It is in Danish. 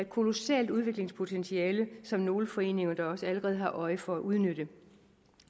kolossalt udviklingspotentiale som nogle foreninger da også allerede har øje for at udnytte